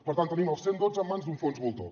per tant tenim el cent i dotze en mans d’un fons voltor